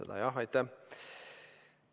Aitäh!